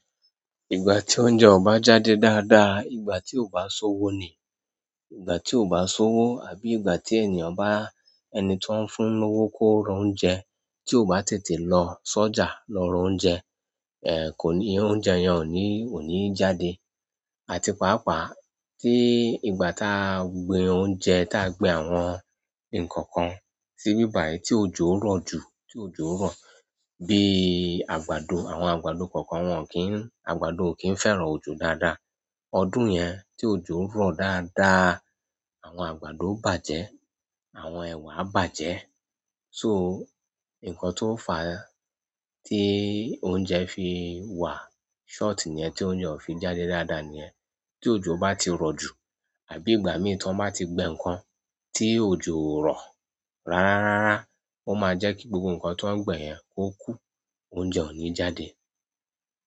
Ìgbà tí oúnjẹ ò bá jáde dáadáa, ìgbà tí ò bá sowó ni. Ìgbà tí ò bá sowó àbí ìgbà tí ènìyàn bá ẹni tó ń fún lówó kó ra oúnjẹ, tí ò bá tètè lọ sọjà lọ ra oúnjẹ, kò ní, oúnjẹ yẹn ò ní, ò ní jáde. Àti pàápàá tí ìgbà tá gbin oúnjẹ tá gbin àwọn ǹnkan kan síbí bàyi tí òjò n rọ̀ jù, tí òjò rọ̀, bí àgbàdo àwọn àgbàdo kọ̀ọ̀kan wọn kì í, àgbàdo ò kì ń fẹ́ràn òjò dáadáa. Ọdún yẹn tí òjò ń rọ̀ dáadáa, àwọn àgbàdo n bàjẹ́, àwọn ẹ̀wà bàjẹ́. So, nǹkan tó ń fa tí oúnjẹ fi wà short niyẹ́n, tí oúnjẹ ò fi jáde dáadáa niyẹ́n. Tí òjò bá ti rọ̀ jù àbí ìgbà mìíràn tí wọ́n bá ti gbin ǹnkan tí òjò rọ̀ rárá rárá, ó máa jẹ́ kí gbogbo ǹnkan tó ń gbin yẹn kó kú, oúnjẹ ò ní jáde.